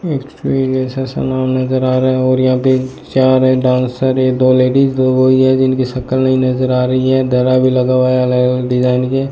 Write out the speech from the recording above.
Orchestra जैसा सनाव नजर आ रहा है और यहां पे चार है डांसर है दो लेडिस दो ये जिनके शक्ल नहीं नजर आ रही है धारा भी लगा हुआ है अलग अलग डिजाइन के।